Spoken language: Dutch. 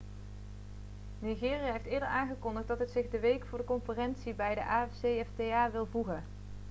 nigeria heeft eerder aangekondigd dat het zich de week voor de conferentie bij de afcfta wil voegen